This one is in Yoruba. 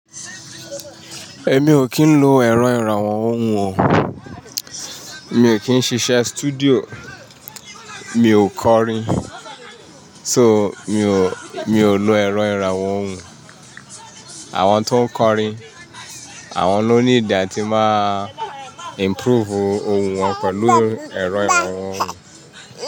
Èmi ò kí ń lo ẹ̀rọ ìrànwọ́ ohùn o. Mi ò kí ń ṣiṣẹ́ studio, mi ò kọrin. So, mi ò, mi ò lo ẹ̀rọ ìrànwọ́ ohùn. Àwọn tó ń kọrin, àwọn ló need àtí máa improve ohùn wọn pẹ̀lú ẹ̀rọ ìrànwọ́ ohùn.